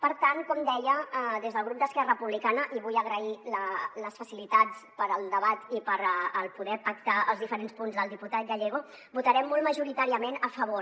per tant com deia des del grup d’esquerra republicana i vull agrair les facilitats per al debat i per poder pactar els diferents punts del diputat gallego hi votarem molt majoritàriament a favor